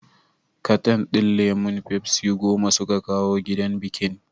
Katan din lemon fafsi goma suka kawo gidan bikin